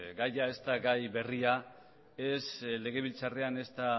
gaia ez da gai berria ez legebiltzarrean ezta